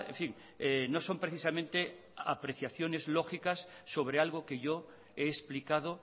fin no son precisamente apreciaciones lógicas sobre algo que yo he explicado